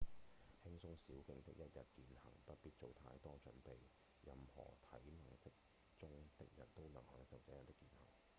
輕鬆小徑的一日健行不必做太多準備任何體能適中的人都能享受這樣的健行